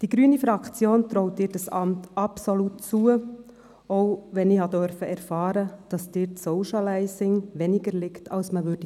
Die grüne Fraktion traut Ihnen dieses Amt absolut zu, selbst wenn ich erfahren durfte, dass Ihnen das Socializing weniger liegt als man denken würde;